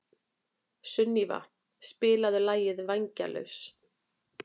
Sunníva, spilaðu lagið „Vængjalaus“.